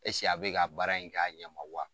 a bɛ ka baara in k'a ɲɛma wa?